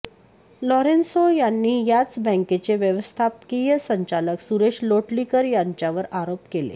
Lourenço यांनी याच बँकेचे व्यवस्थापकीय संचालक सुरेश लोटलीकर यांच्यावर आरोप केले